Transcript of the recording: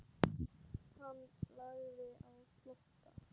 Hann lagði á flótta.